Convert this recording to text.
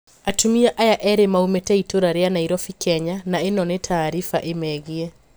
Atumia aya eri maumite itũra ria Nairobi Kenya na ino ni taarifa imegie.